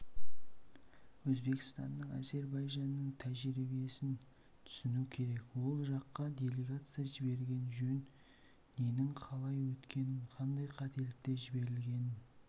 өзбекстанның әзірбайжанның тәжірибесін түсіну керек ол жаққа делегация жіберген жөн ненің қалай өткенін қандай қателіктер жіберілгенін